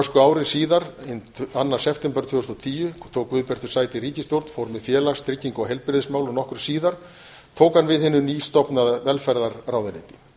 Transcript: ári síðar hinn annan september tvö þúsund og tíu tók guðbjartur sæti í ríkisstjórn fór með félags trygginga og heilbrigðismál og nokkru síðar tók hann við hinu nýstofnaða velferðarráðuneyti